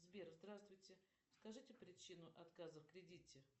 сбер здравствуйте скажите причину отказа в кредите